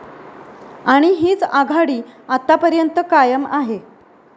आणि हीच आघाडी आतापर्यंत कायम आहे.